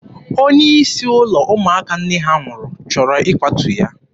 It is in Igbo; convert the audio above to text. Onye isi ụlọ ụmụaka nne ha nwụrụ chọrọ ịkwatu ya.